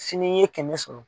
Sini i ye kɛmɛ sɔrɔ.